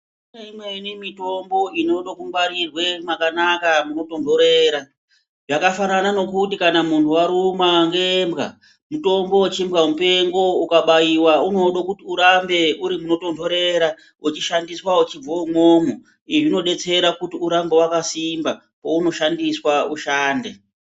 Kune imweni mitombo inodo kungwarirwe mwakanaka munotondorera. Yakafanana nokuti kana munhu warumwa ngembwa, mutombo wechimbwamupengo ukabaiwa unodo kuti urambe uri munotonhorera uchishandiswa uchibvo umwomwo. Izvi zvinodetsera kuti urambe wakasimba, pounoshandiswa ushande.